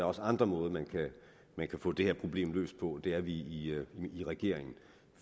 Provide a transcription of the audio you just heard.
også andre måder man kan få det her problem løst på og det er vi i regeringen